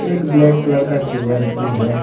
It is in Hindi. एक ब्लैक कलर का चेयर भी है।